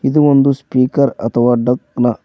ಇದು ಒಂದು ಸ್ಪೀಕರ್ ಅಥವಾ ಡಕ್ ನ--